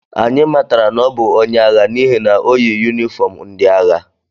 Anyị matara na ọ bụ onye agha n’ihi na o yi yunifọm ndị agha